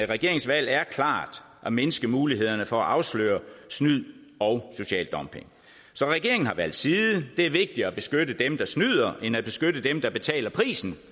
regeringens valg er klart at mindske mulighederne for at afsløre snyd og social dumping så regeringen har valgt side det er vigtigere at beskytte dem der snyder end at beskytte dem der betaler prisen